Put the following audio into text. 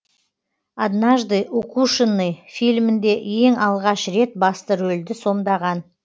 однажды укушенный фильмінде ең алғаш рет басты рөлді сомдаған